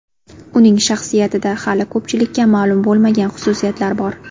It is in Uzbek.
Uning shaxsiyatida hali ko‘pchilikka ma’lum bo‘lmagan xususiyatlar bor.